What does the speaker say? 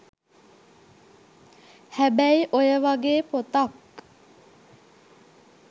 හැබැයි ඔය වගේ පොතක්